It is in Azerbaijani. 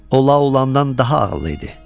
O La Olandan daha ağıllı idi.